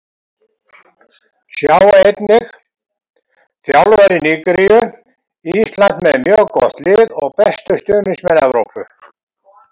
Sjá einnig: Þjálfari Nígeríu: Ísland með mjög gott lið og bestu stuðningsmenn Evrópu